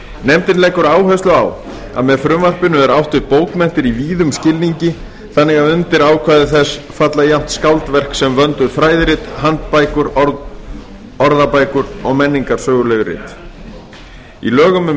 nefndin leggur áherslu á að með frumvarpinu er átt við bókmenntir í víðum skilningi þannig að undir ákvæði þess falla jafnt skáldverk sem vönduð fræðirit handbækur orðabækur og menningarsöguleg rit í lögum um